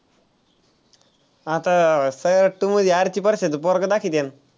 आता सैराट two मध्ये आरची परशाचं पोरगं दाखिवत्याल.